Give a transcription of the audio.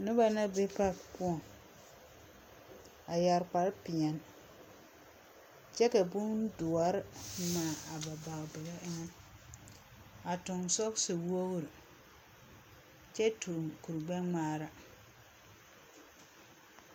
Noba na be pake poɔŋ, a yɛre kpare peɛle kyɛ ka bondoɔre ŋmaa aba bage bige eŋɛ a toŋ sɔgese wogiri kyɛ toŋ kurigbɛŋmaara.